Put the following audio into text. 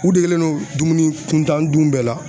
U degelen do dumuni kuntan dun bɛɛ la